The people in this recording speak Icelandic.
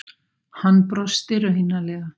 Hann brosti raunalega.